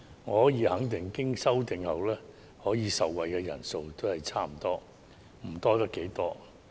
我可以肯定，經修正後，可以受惠的人數差不多，不會多出多少。